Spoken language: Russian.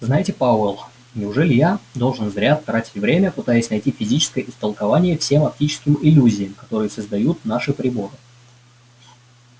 знаете пауэлл неужели я должен зря тратить время пытаясь найти физическое истолкование всем оптическим иллюзиям которые создают наши приборы